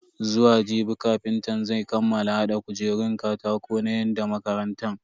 Zuwa jibi kafintan zan kammala hada kujerun katako na yan makarantan.